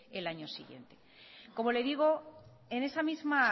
el año siguiente como le digo en esa misma